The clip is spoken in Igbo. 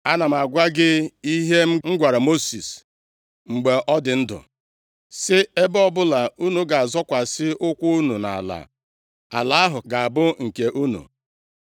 Ana m agwa gị ihe m gwara Mosis mgbe ọ dị ndụ sị, Ebe ọbụla unu ga-azọkwasị ụkwụ unu nʼala, ala ahụ ga-abụ nke unu.